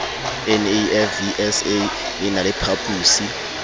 nafvsa e na le phaposi